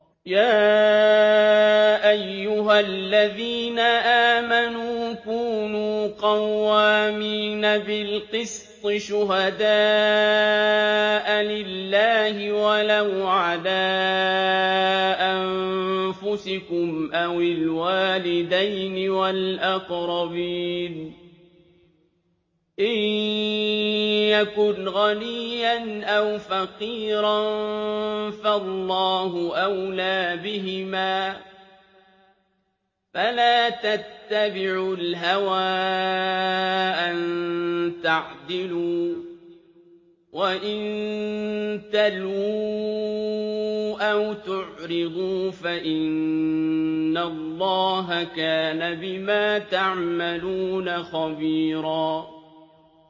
۞ يَا أَيُّهَا الَّذِينَ آمَنُوا كُونُوا قَوَّامِينَ بِالْقِسْطِ شُهَدَاءَ لِلَّهِ وَلَوْ عَلَىٰ أَنفُسِكُمْ أَوِ الْوَالِدَيْنِ وَالْأَقْرَبِينَ ۚ إِن يَكُنْ غَنِيًّا أَوْ فَقِيرًا فَاللَّهُ أَوْلَىٰ بِهِمَا ۖ فَلَا تَتَّبِعُوا الْهَوَىٰ أَن تَعْدِلُوا ۚ وَإِن تَلْوُوا أَوْ تُعْرِضُوا فَإِنَّ اللَّهَ كَانَ بِمَا تَعْمَلُونَ خَبِيرًا